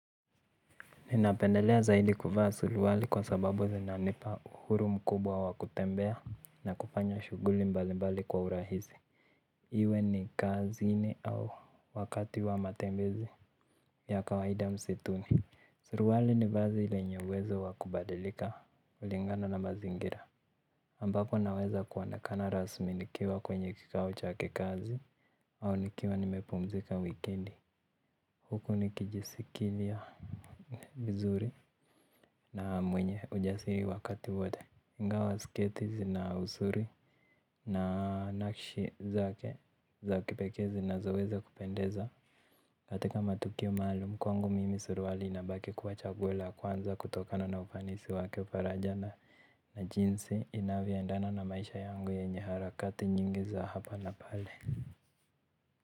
Ninapendelea zaidi kuvaa suruali kwa sababu zinanipa uhuru mkubwa wa kutembea na kufanya shughuli mbalimbali kwa urahisi. Iwe ni kazini au wakati wa matembezi ya kawaida msituni. Suruali ni vazi lenye uwezo wa kubadilika kulingana na mazingira. Ambapo naweza kuonekana rasmi nikiwa kwenye kikao cha kikazi au nikiwa nimepumzika wikendi. Huku nikijisikilia vizuri na mwenye ujasiri wakati wote ingawa sketi zina uzuri na nakshi zake za kipekee zinazoweza kupendeza. Katika matukio maalum kwangu mimi suruali inabaki kuwa chaguo la kwanza kutokana na ufanisi wake faraja na na jinsi inavyoendana na maisha yangu yenye harakati nyingi za hapa na pale.